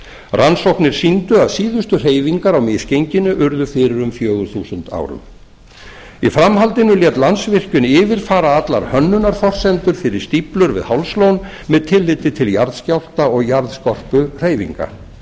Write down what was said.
rannsóknir sýndu að síðustu hreyfingar á misgenginu urðu fyrir um fjögur þúsund árum í framhaldinu lét landsvirkjun yfirfara allar hönnunarforsendur fyrir stíflur við hálslón með tilliti til jarðskjálfta og jarðskorpuhreyfinga